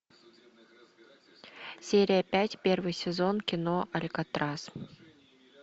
серия пять первый сезон кино алькатрас